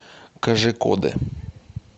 кожикоде